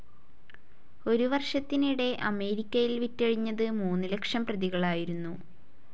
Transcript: ഒരുവർഷത്തിനിടെ അമേരിക്കയിൽ വിറ്റഴിഞ്ഞത് മൂന്ന് ലക്ഷം പ്രതികളായിരുന്നു.